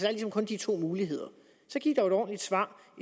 er ligesom kun de to muligheder så giv dog et ordentligt svar